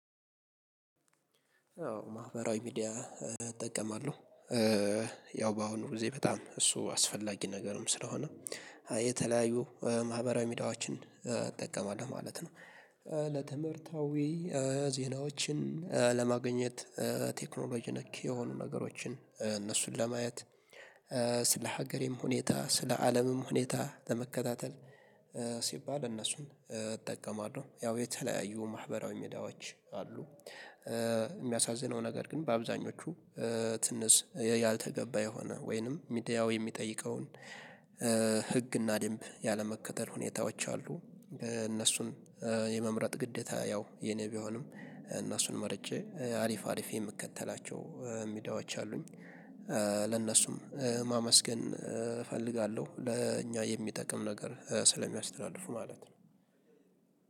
አዎ ማህበራዊ ሚዲያ እጠቀማለሁ። ያው በአሁኑ ጊዜ በጣም እሱ አስፈላጊ ነገርም ስለሆነ የተለያዩ ማህበራዊ ሚዲያዎችን እጠቀማለሁ ማለት ነው። ለትምህርታዊ ዜናዎችን ለማግኘት ቴክኖሎጂ ነክ የሆኑ ነገሮችን እነሱን ለማየት ስለ ሀገሬም ሁኔታ ፥ስለ አለምም ሁኔታ ለመከታተል ሲባል እነሱን እጠቀማለሁ። ያው የተለያዩ ማህበራዊ ሚዲያዎች አሉ። የሚያሳዝነው ነገር ግን በአብዛኞቹ ትንሽ ያልተገባ የሆነ ወይንም ሚዲያው የሚጠይቀውን ህግና ድንብ ያለመከተል ሁኔታዎች አሉ እነሱን የመምረጥ ግደታ ያው የኔ ቢሆንም እና እነሱን መርጬ አሪፍ አሪፍ የምከተላቸው ሚዲያዎች አሉኝ። ለነሱም ማመስገን እፈልጋለሁ ለእኛ የሚጠቅም ነገር ስለሚያስተላልፉ ማለት ነው።